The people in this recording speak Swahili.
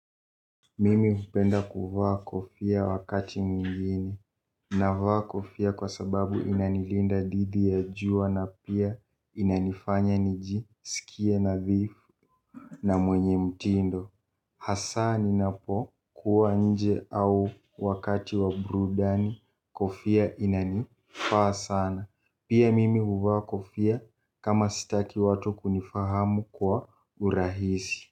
Mimi hupenda kuvaa kofia wakati mwingine. Navaa kofia kwa sababu inanilinda dhidi ya jua na pia inanifanya nijisikie nadhifu na mwenye mtindo. Hasa ninapo kuwa nje au wakati wa burudani kofia inanifaa sana. Pia mimi huvaa kofia kama sitaki watu kunifahamu kwa urahisi.